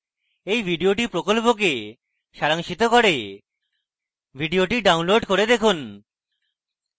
এই video প্রকল্পকে সারাংশিত করে video download করে দেখুন